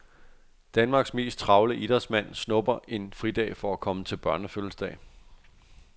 Danmarks mest travle idrætsmand snupper en fridag for at komme til børnefødselsdag.